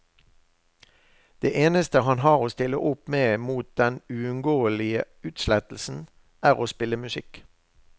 Det eneste han har å stille opp mot den uunngåelige utslettelsen, er å spille musikk.